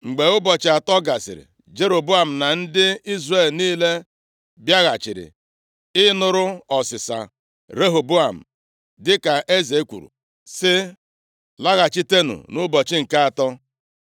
Mgbe ụbọchị atọ gasịrị, Jeroboam na ndị Izrel niile bịaghachiri ịnụrụ ọsịsa Rehoboam, dịka eze kwuru, sị, “Laghachitenụ nʼụbọchị nke atọ.”